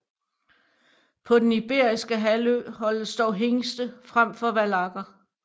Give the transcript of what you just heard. På den iberiske halvø holdes dog hingste frem for vallakker